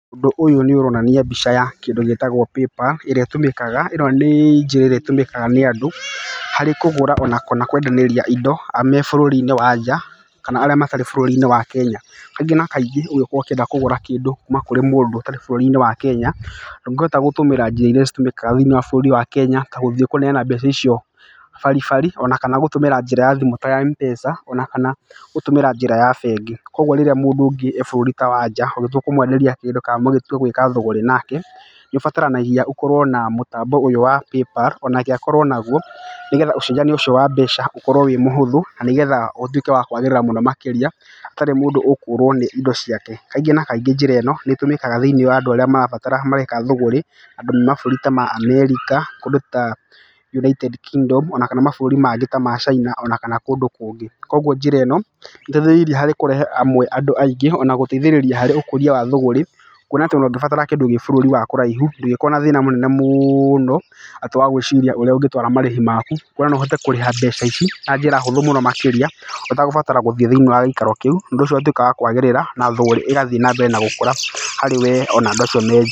Ũndũ ũyũ nĩ ũronania mbica ya kĩndũ gĩtagwo PayPal, ĩrĩa ĩtũmĩkaga, ĩno nĩ njĩra ĩrĩa ĩtũmĩkaga nĩ andũ harĩ kũgũra ona kana kwendanĩria indo me bũrũri-inĩ wa nja, kana arĩa matarĩ bũrũri-inĩ wa Kenya. Kaingĩ na kaingĩ ũngĩkorwo ũkĩenda kũgũra kĩndũ kuma kũrĩ mũndũ ũtarĩ bũrũri-inĩ wa Kenya, ndũngĩhota gũtũmĩra njĩra irĩa itũmĩkaga thĩiniĩ wa bũrũri-inĩ wa Kenya ta gũthiĩ kũneana mbeca icio baribari, ona kana gũtũmĩra njĩra ya thimũ ta ya Mpesa, ona kana gũtũmĩra njĩra ya bengi. Koguo rĩrĩa mũndũ ũngĩ e bũrũri ta wa nja, ũngĩtua kũmwenderia kĩndũ kana mũgĩtwa gwĩka thogore nake, nĩ ũbataranagia gũkorwo na mũtambo ũyũ wa PayPal onake akorwo naguo, nĩgetha ũcenjania ũcio wa mbeca ũkorwo wĩ mũhũthũ. Na nĩgetha ũtuĩke wa kwagĩrĩria mũno makĩria hatarĩ mũndũ ũkũrwo nĩ indo ciake. Kaingĩ na kaingĩ njĩra ĩno nĩ ĩtũmĩkaga thĩiniĩ wa andũ arĩa marabatara mareka thũgũri, andũ a mabũrũri ta America, kũndũ ta United Kingdom ona kana mabũrũri mangĩ ta Caina ona kana kũndũ kũngĩ. Koguo njĩra ĩno nĩ ĩteithĩrĩirie harĩ kũrehe amwe andũ aingĩ, ona kana gũteithĩrĩria harĩ ũkũria wa thũgũri. Kuona atĩ ona ũngĩbatara kĩndũ gĩ bũrũri wa kũraihu ndũngĩkorwo na thĩna mũnene mũno, atĩ wa gwĩciria ũrĩa ũngĩtwara marĩhi maku. Kuona no ũhote kũrĩha mbeca ici na njĩra hũthũ makĩria ũtegũbatara gũthiĩ thĩiniĩ wa gĩikaro kĩu. Ũndũ ũcio ũgatuĩka wa kwagĩrithia thũgũri ĩgathiĩ na mbere na gũkũra harĩ we ona andũ acio me...